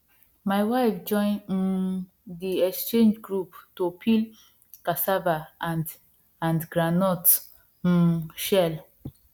my wife join um the exchange group to peel cassava and and groundnut um shell